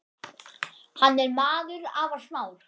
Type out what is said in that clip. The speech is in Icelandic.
Hann er maður afar smár.